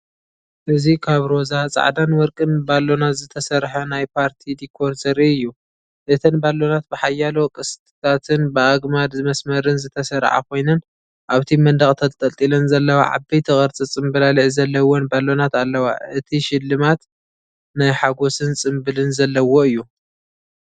እዚ ካብ ሮዛ፣ ጻዕዳን ወርቅን ባሎናት ዝተሰርሐ ናይ ፓርቲ ዲኮር ዘርኢ እዩ። እተን ባሎናት ብሓያሎ ቅስትታትን ብኣግማድ መስመርን ዝተሰርዓ ኮይነን ኣብቲ መንደቕ ተንጠልጢለን ዘለዋ ዓበይቲ ቅርጺ ጽምብላሊዕ ዘለወን ባሎናት ኣለዋ። እቲ ሽልማት ናይ ሓጎስን ጽምብልን ዘለዎ እዩ።